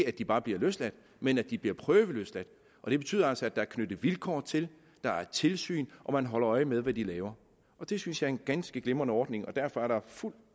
at de bare bliver løsladt men at de bliver prøveløsladt og det betyder altså at der er knyttet vilkår til der er tilsyn og man holder øje med hvad de laver og det synes jeg er en ganske glimrende ordning og derfor er der fuld